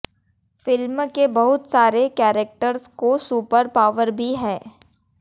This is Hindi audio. फिल्म के बहुत सारे कैरक्टर्स को सुपर पावर भी है